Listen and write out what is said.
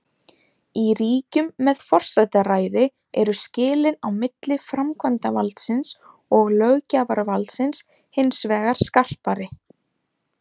Í ríkjum með forsetaræði eru skilin á milli framkvæmdavaldsins og löggjafarvaldsins hins vegar skarpari.